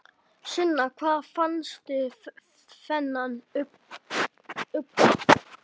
Sunna: Hvar fannstu þennan unga?